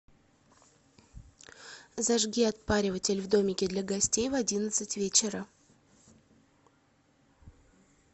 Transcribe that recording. зажги отпариватель в домике для гостей в одиннадцать вечера